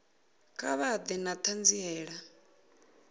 kha vha ḓe na ṱhanziela